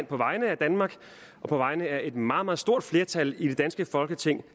på vegne af danmark og på vegne af et meget meget stort flertal i det danske folketing